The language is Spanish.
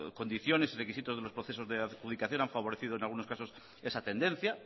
condiciones y requisitos de los procesos de adjudicación han favorecido en algunos casos esa tendencia